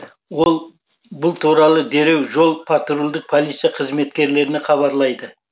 ол бұл туралы дереу жол патрульдік полиция қызметкерлеріне хабарлайды